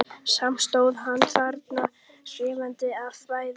Samt stóð hann þarna skjálfandi af bræði.